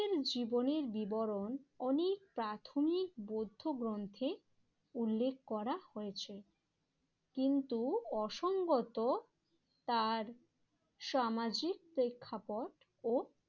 জীবনের বিবরণ অনেক প্রাথমিক বৌদ্ধ গ্রন্থে উল্লেখ করা হয়েছে। কিন্তু অসংগত তার সামাজিক প্রেক্ষাপট ও